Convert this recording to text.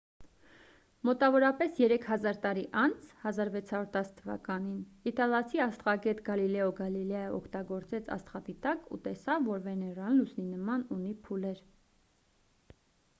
մոտավորապես երեք հազար տարի անց 1610 թ իտալացի աստղագետ գալիլեո գալիլեյը օգտագործեց աստղադիտակ ու տեսավ որ վեներան լուսնի նման ունի փուլեր